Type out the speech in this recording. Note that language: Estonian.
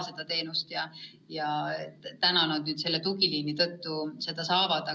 Nüüd nad tänu sellele tugiliinile seda saavad.